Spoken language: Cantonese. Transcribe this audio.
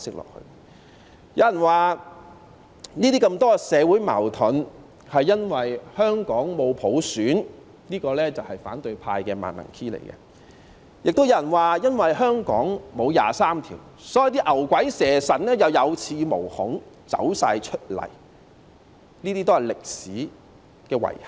有人說這麼多社會矛盾是因為香港沒有普選，這也是反對派的"萬能 key"， 亦有人說因為香港沒有就《基本法》第二十三條立法，所以那些牛鬼蛇神可以有恃無恐，全部走出來，這些也是歷史的遺憾。